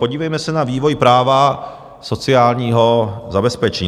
Podívejme se na vývoj práva sociálního zabezpečení.